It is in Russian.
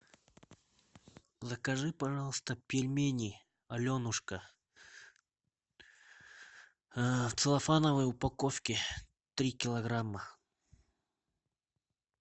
закажи пожалуйста пельмени аленушка в целлофановой упаковке три килограмма